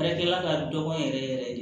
Baarakɛla ka dɔgɔn yɛrɛ yɛrɛ de